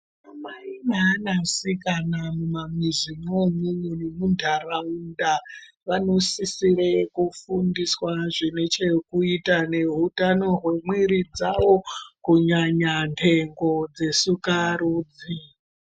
Anamai neanasikana mumamizi mwoumwomwo nemuntaraunda vanosisire kufundiswa zvine chekuita neutano hwemwiri dzavo kunyanya nhengo dzesikarudzi.